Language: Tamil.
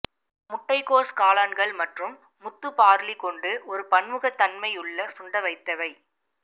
முட்டைக்கோஸ் காளான்கள் மற்றும் முத்து பார்லி கொண்டு ஒரு பன்முகத்தன்மை உள்ள சுண்டவைத்தவை